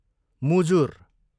मुजुर